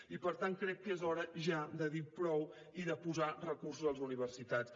i per tant crec que és hora ja de dir prou i de posar recursos a les universitats